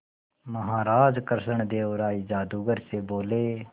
महाराज कृष्णदेव राय जादूगर से बोले